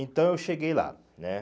Então eu cheguei lá, né?